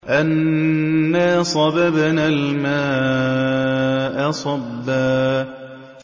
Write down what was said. أَنَّا صَبَبْنَا الْمَاءَ صَبًّا